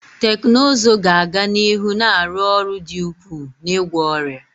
Teknụzụ ga-aga n'ihu na-arụ ọrụ dị ukwuu n'ịgwọ ọrịa